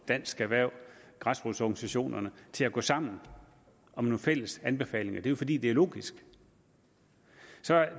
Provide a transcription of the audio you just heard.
dansk erhverv og græsrodsorganisationerne til at gå sammen om nogle fælles anbefalinger det jo fordi det er logisk